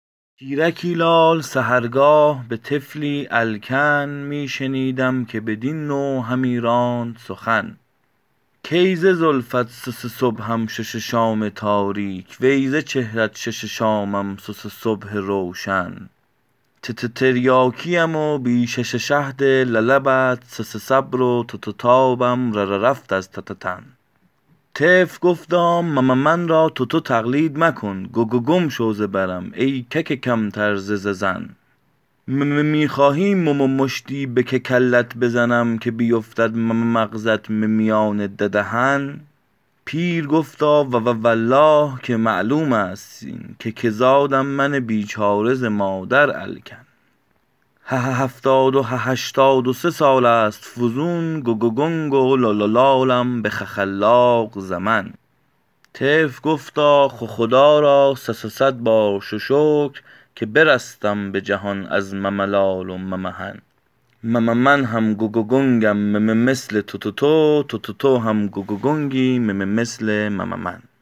پیرکی لال سحرگاه به طفلی الکن می شنیدم که بدین نوع همی راند سخن کای ز زلفت صصصبحم شاشاشام تاریک وی ز چهرت شاشاشامم صصصبح روشن تتتریاکیم و بی شششهد للبت صصصبر و تاتاتابم رررفت از تتتن طفل گفتا مممن را تتو تقلید مکن گگگم شو ز برم ای کککمتر از زن می خخواهی مممشتی به ککلت بزنم که بیفتد مممغزت ممیان ددهن پیر گفتا وووالله که معلومست این که که زادم من بیچاره ز مادر الکن هههفتاد و ههشتاد و سه سالست فزون گگگنگ و لالالالم به خخلاق زمن طفل گفتا خخدا را صصصدبار ششکر که برستم به جهان از مملال و ممحن مممن هم گگگنگم مممثل تتتو تتتو هم گگگنگی مممثل مممن